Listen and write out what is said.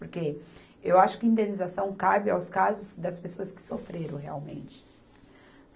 Porque eu acho que indenização cabe aos casos das pessoas que sofreram realmente.